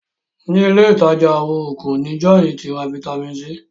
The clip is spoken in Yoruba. ní Ilé ìtajà oògùn ní John tí ra Vitamin C.